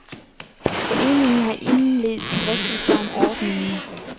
Foreningen har indledt drøftelser om ordningen.